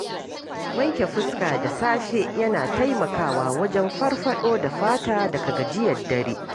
Wanke fuska da safe yana taimakawa wajen farfaɗo da fata daga gajiyar dare.